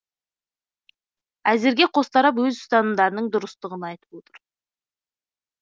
әзірге қос тарап өз ұстанымдарының дұрыстығын айтып отыр